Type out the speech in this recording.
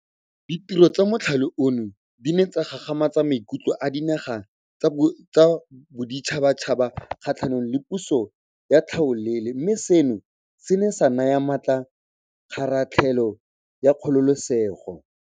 Ditiro tsa mothale ono di ne tsa gagamatsa maikutlo a dinaga tsa boditšhabatšhaba kgatlhanong le puso ya tlhaolele mme seno se ne sa naya maatla kgaratlhelo ya kgololesego.